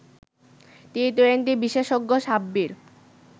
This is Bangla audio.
টি-টোয়েন্টি বিশেষজ্ঞ সাব্বির